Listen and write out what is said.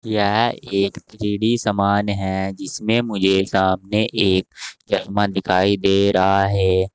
यह एक थ्रीडी समान है जिसमें मुझे सामने एक चश्मा दिखाई दे रहा है।